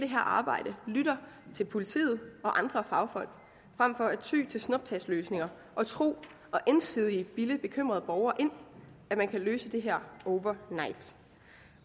her arbejde lytter til politiet og andre fagfolk frem for at ty til snuptagsløsninger og tro og ensidigt bilde bekymrede borgere ind at man kan løse det her over night